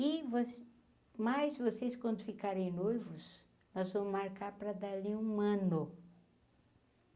E, vo mas vocês quando ficarem noivos, nós vamos marcar para dali a um ano.